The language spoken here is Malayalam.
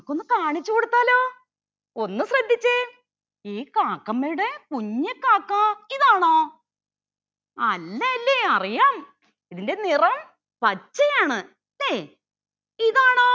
നമ്മക്ക് ഒന്ന് കാണിച്ച് കൊടുത്താലോ ഒന്ന് ശ്രദ്ധിച്ചെ ഈ കാക്കമ്മയുടെ കുഞ്ഞ് കാക്ക ഇതാണോ അല്ലല്ലെ അറിയാം ഇതിൻ്റെ നിറം പച്ചയാണ് അല്ലെ ഇതാണോ